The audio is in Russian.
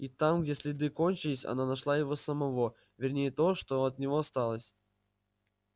и там где следы кончились она нашла его самого вернее то что от него осталось